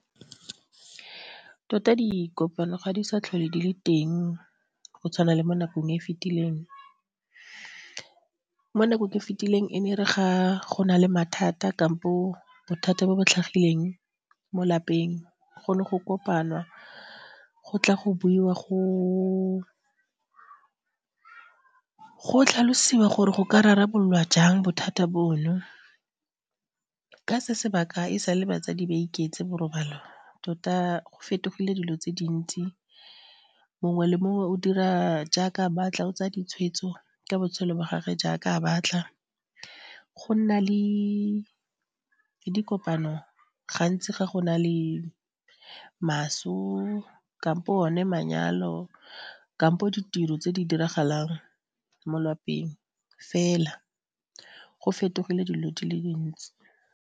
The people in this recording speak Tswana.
Tota dikopano ga di sa tlhole di le teng go tshwana le mo nakong e e fetileng, mo nakong e e fetileng e ne e re ga go na le mathata kampo bothata bo bo tlhagileng mo lapeng go ne go kopanwa go tla go buiwa go tlhalosiwa gore go ka rarabolwa jang bothata bono. Ka se sebaka e sale batsadi ba iketse borobalo tota go fetogile dilo tse dintsi mongwe le mongwe o dira jaaka a batla, o tsaya ditshwetso ka botshelo ba gage jaaka a batla go nna le dikopano gantsi ga go na le maso kampo one manyalo kampo ditiro tse di diragalang mo lwapeng fela. Go fetogile dilo dile dintsi.